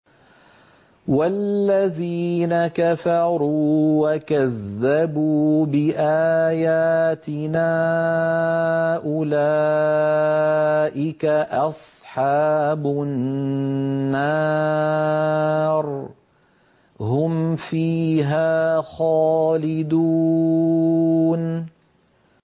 وَالَّذِينَ كَفَرُوا وَكَذَّبُوا بِآيَاتِنَا أُولَٰئِكَ أَصْحَابُ النَّارِ ۖ هُمْ فِيهَا خَالِدُونَ